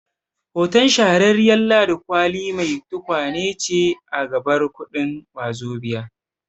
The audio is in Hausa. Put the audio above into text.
Hoton Shahararriyar Ladi Kwali mai tukwane ce a gabar kuɗin Wazobia